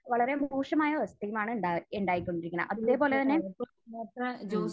വളരെ മോശമായ അവസ്ഥയുമാണ് ഇണ്ടാ...ഉണ്ടായിക്കൊണ്ടിരിക്കുന്നത്. അതേപോലെ തന്നെ മ്മ്